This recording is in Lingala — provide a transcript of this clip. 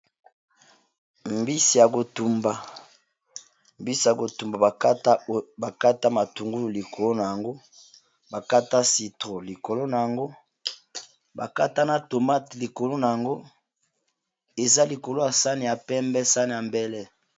Mbisi ya kotumba bakata matungulu likolo na yango bakata citro, likolona yang bakata na tomate likolo na yango eza likolo ya sani ya pembe sane ya mbele